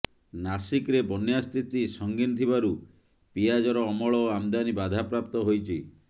ନାସିକ୍ରେ ବନ୍ୟା ସ୍ଥିତି ସଂଗିନ୍ ଥିବାରୁ ପିଆଜର ଅମଳ ଓ ଆମଦାନୀ ବାଧାପ୍ରାପ୍ତ ହୋଇଛି